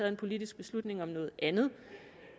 en politisk beslutning om noget andet